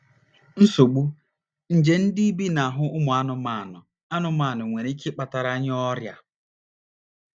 NSOGBU: Nje ndị bi n’ahụ́ ụmụ anụmanụ anụmanụ nwere ike ịkpatara anyị ọrịa.